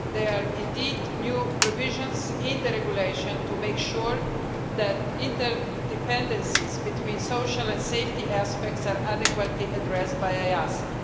There are indeed new provisions in the regulation to make sure that interdependencies between social and safety aspects are adequately addressed by EASA.